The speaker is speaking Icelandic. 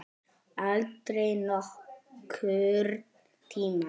Aldrei nokkurn tímann.